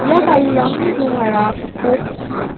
ia garirangni rongara gipok ong·a.